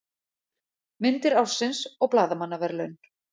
Myndir ársins og blaðamannaverðlaun